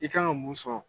I kan ka mun sɔrɔ